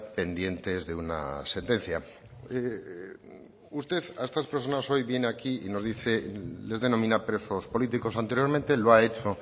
pendientes de una sentencia usted a estas personas hoy viene aquí y nos dice les denomina presos políticos anteriormente lo ha hecho